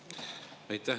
Aitäh!